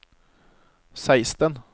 seksten